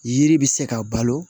Yiri bɛ se ka balo